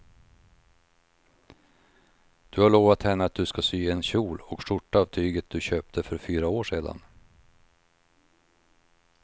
Du har lovat henne att du ska sy en kjol och skjorta av tyget du köpte för fyra år sedan.